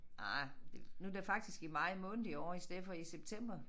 Ah det nu det faktisk i maj måned i år i stedet for i september